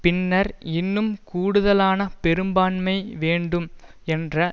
பின்னர் இன்னும் கூடுதலான பெரும்பான்மை வேண்டும் என்று